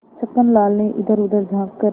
छक्कन लाल ने इधरउधर झॉँक कर